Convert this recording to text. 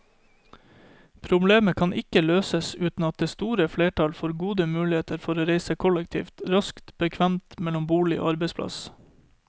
Problemet kan ikke løses uten at det store flertall får gode muligheter for å reise kollektivt, raskt og bekvemt mellom bolig og arbeidsplass.